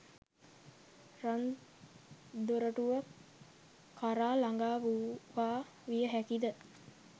රන් දොරටුව කරා ළඟා වූවා විය හැකි ද